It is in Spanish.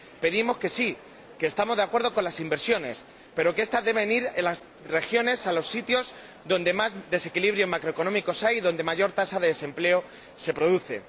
Decimos que sí, que estamos de acuerdo con las inversiones, pero que estas deben ir a las regiones, a los sitios donde más desequilibrios macroeconómicos hay y donde mayor tasa de desempleo se produce.